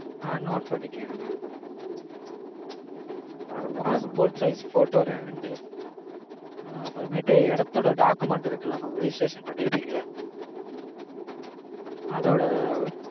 ஆஹ் note பண்ணிக்கோங்க mam passport size photo. ரெண்டு, அப்பறமேட்டு இடத்தோட document இருக்குல்ல mam registration பண்ணிருப்பீங்கல்ல? அதோட